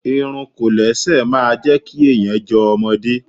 Irun Kòlẹ́sẹ̀ máa jẹ́ kí èèyàn jọ ọmọdé